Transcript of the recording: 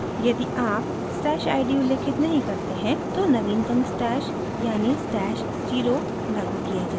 यदि आप stash id उल्लिखित नहीं करते हैं तो नवीनतम stash यानि stash @{0} लागू किया जाएगा